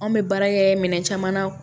Anw bɛ baara kɛ minɛn caman na